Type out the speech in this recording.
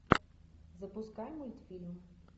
запускай мультфильм